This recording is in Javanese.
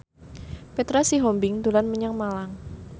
Petra Sihombing dolan menyang Malang